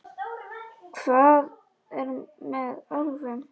Hvað er með álfum?